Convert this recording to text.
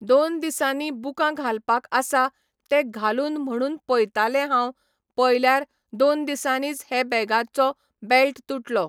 दोन दिसांनी बुकां घालपाक आसा ते घालून म्हणून पयतालें हांव पयल्यार दोन दिसांनीच हे बॅगाचो बॅल्ट तुटलो.